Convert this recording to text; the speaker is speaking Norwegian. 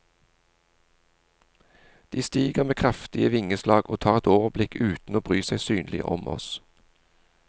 De stiger med kraftige vingeslag og tar et overblikk uten å bry seg synlig om oss.